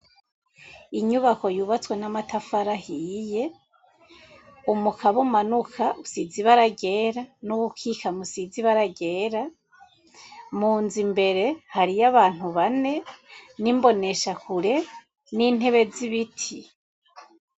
Inyubako yubatswe n'amatafari ahiye umukaba umanuka usize ibara ryera n'uwukikama usize ibara ryera mu nzu imbere hariyo abantu bane n'imboneshakure n'intebe z'ibiti.